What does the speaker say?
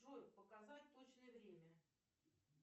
джой показать точное время